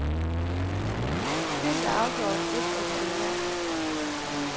Spillet er afgjort et af de bedre.